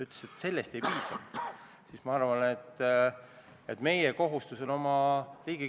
Miks seda vaja on, pidi ministeerium selgitama 4. novembril majanduskomisjoni istungil.